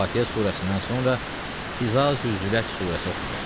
Fatihə surəsindən sonra İza-ı zülət surəsi oxunur.